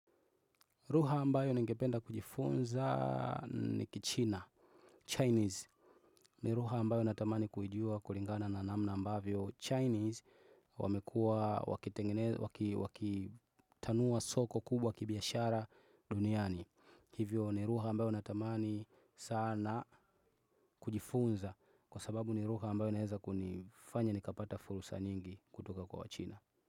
Lugha ambayo ningependa kujifunza ni kichina, 'Chinese.' Ni lugha ambayo natamani kuijua kulingana na namna ambavyo 'Chinese' wamekua wakitanua soko kubwa kibiashara duniani. Hivyo ni lugha ambayo natamani sana kujifunza kwa sababu ni lugha ambayo inaeza kunifanya nikapata fursa nyingi kutoka kwa wachina.